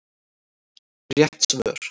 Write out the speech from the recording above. Rétt svör